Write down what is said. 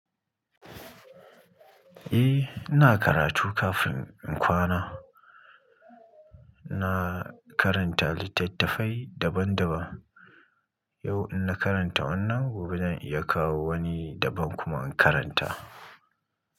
Eh ina karatu kafin in kwana, na karanta littattafai daban daban. Yau ina karanta wannan, gobe zan iya kawo wani daban kuma in karanta.